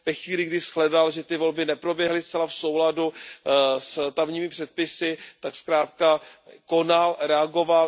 Ve chvíli, kdy shledal, že ty volby neproběhly zcela v souladu s tamními předpisy, tak zkrátka konal, reagoval.